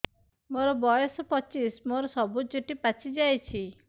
ମୋର ବୟସ ପଚିଶି ମୋର ସବୁ ଚୁଟି ପାଚି ଯାଇଛି